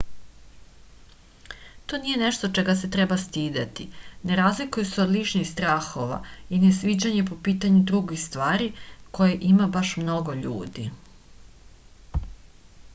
to nije nešto čega se treba stideti ne razlikuje se od ličnih strahova i nesviđanja po pitanju drugih stvari koje ima baš mnogo ljudi